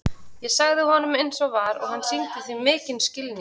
Ég sagði honum eins og var og hann sýndi því mikinn skilning.